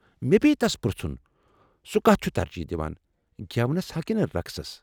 مےٚ پیٚیہ تس پٔرٛژھن سُہ كتھ چُھ ترجیح دِوان ، گیونسا كِنہٕ رقصس ۔